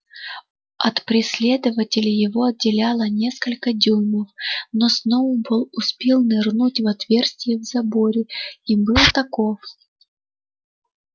от преследователей его отделяло несколько дюймов но сноуболл успел нырнуть в отверстие в заборе и был таков